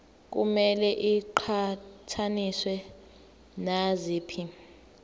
kumele iqhathaniswe naziphi